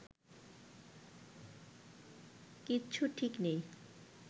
কিচ্ছু ঠিক নেই